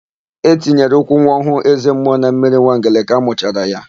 E tinyere ụkwụ nwa ọhụụ eze mmụọ na mmiri Nwangele ka amụchara ya.